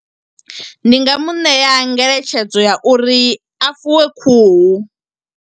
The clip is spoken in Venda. Ndi nga mu ṋea ngeletshedzo ya uri, a fuwe khuhu.